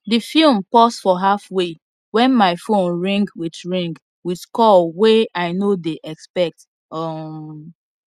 the film pause for halfway when my phone ring with ring with call way i no dey expect um